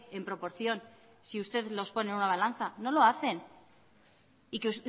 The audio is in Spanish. en proporción si usted los pone en una balanza no lo hacen y que